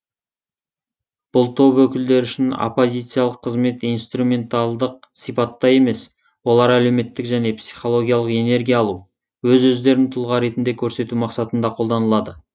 бұл топ өкілдері үшін оппозициялық қызмет инструменталдық сипатта емес олар әлеуметтік және психологиялық энергия алу өз өздерін тұлға ретінде көрсету мақсатында қолданылады